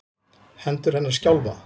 Hendur hennar skjálfa.